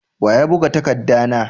Wa ya buga takadda na?